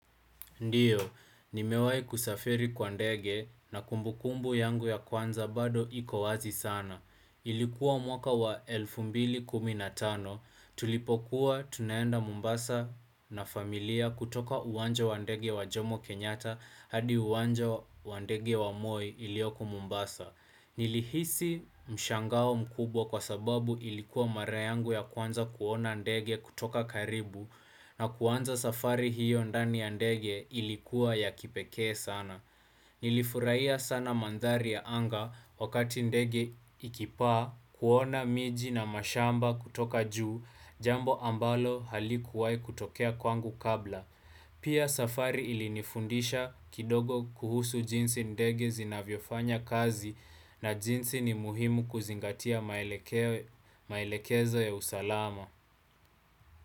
Ndiyo, nimewai kusafiri kwa ndege na kumbu kumbu yangu ya kwanza bado iko wazi sana. Ilikuwa mwaka wa elfu mbili kumi na tano, tulipokuwa tunaenda mombasa na familia kutoka uwanja wa ndege wa jomo kenyatta hadi uwanja wa ndege wa moi iliyoko mombasa. Nilihisi mshangao mkubwa kwa sababu ilikuwa mara yangu ya kwanza kuona ndege kutoka karibu na kuanza safari hiyo ndani ya ndege ilikuwa ya kipekee sana. Nilifurahia sana mandhari ya anga wakati ndege ikipaa kuona miji na mashamba kutoka juu jambo ambalo halikuwai kutokea kwangu kabla. Pia safari ilinifundisha kidogo kuhusu jinsi ndege zinavyofanya kazi na jinsi ni muhimu kuzingatia maelekezo ya usalama.